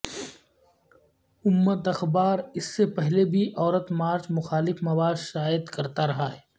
امت اخبار اس سے پہلے بھی عورت مارچ مخالف مواد شائع کرتا رہا ہے